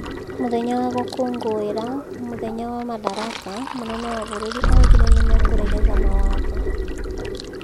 Mũthenya wa gũkũnguira mũthenya wa Madaraka, Mũnene wa bũruri augire nìmekũregeza mawatho